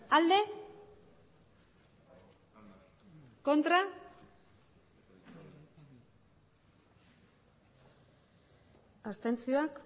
emandako botoak